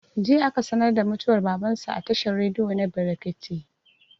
Jiya aka sanar da mutuwar baban su a tashar rediyo na brekete